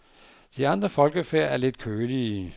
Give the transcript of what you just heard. De andre folkefærd er lidt kølige.